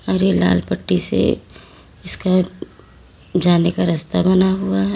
हरे लाल पट्टी से इसका जाने का रास्ता बना हुआ है।